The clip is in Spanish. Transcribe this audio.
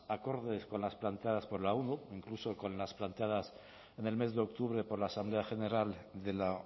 acordes con las planteadas por la onu incluso con las planteadas en el mes de octubre por la asamblea general de la